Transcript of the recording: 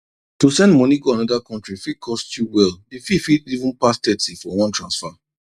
to send moni go another country fit cost you well d fee fit even pass thirty for one transfer